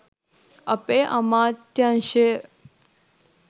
අපේ අමාත්‍යංශය